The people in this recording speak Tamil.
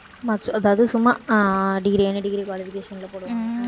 அதாவது சும்மா அஹ் degree any degree qualification ல போடுவாங்க